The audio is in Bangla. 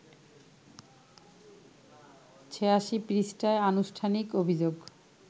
৮৬ পৃষ্ঠার আনুষ্ঠানিক অভিযোগ